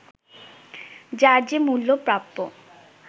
যার যে মূল্য প্রাপ্য